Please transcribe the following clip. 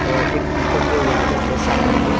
और एक पीकॉक जो यहां में है सामने में।